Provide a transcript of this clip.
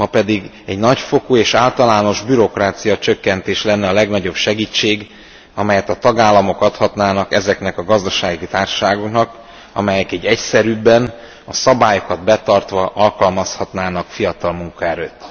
Ma pedig egy nagyfokú és általános bürokráciacsökkentés lenne a legnagyobb segítség, amelyet a tagállamok adhatnának ezeknek a gazdasági társaságoknak, amelyek így egyszerűbben, a szabályokat betartva alkalmazhatnának fiatal munkaerőt.